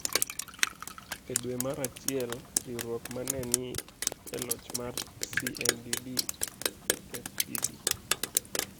E dwe mar achiel, riwruok ma ne ni e loch mar CNDD-FDD,